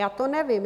Já to nevím.